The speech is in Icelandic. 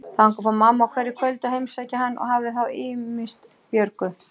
Þangað fór mamma á hverju kvöldi að heimsækja hann og hafði þá ýmist Björgu